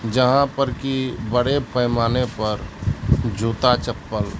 जहां पर की बड़े पैमाने पर जूता